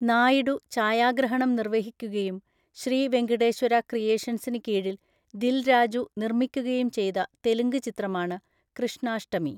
നായിഡു ഛായാഗ്രഹണം നിർവ്വഹിക്കുകയും ശ്രീ വെങ്കിടേശ്വര ക്രിയേഷൻസിന് കീഴിൽ ദിൽ രാജു നിർമ്മിക്കുകയും ചെയ്ത തെലുങ്ക് ചിത്രമാണ് 'കൃഷ്ണാഷ്ടമി'.